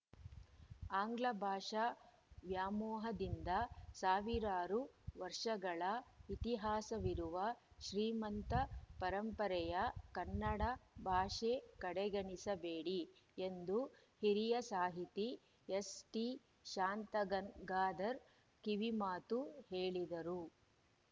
ಆಂಗ್ಲ ಭಾಷಾ ವ್ಯಾಮೋಹದಿಂದ ಸಾವಿರಾರು ವರ್ಷಗಳ ಇತಿಹಾಸವಿರುವ ಶ್ರೀಮಂತ ಪರಂಪರೆಯ ಕನ್ನಡ ಭಾಷೆ ಕಡೆಗಣಿಸಬೇಡಿ ಎಂದು ಹಿರಿಯ ಸಾಹಿತಿ ಎಸ್‌ಟಿಶಾಂತಗಂಗಾಧರ್‌ ಕಿವಿಮಾತು ಹೇಳಿದರು